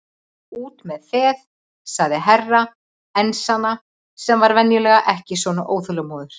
Út með þeð, sagði Herra Enzana sem var venjulega ekki svona óþolinmóður.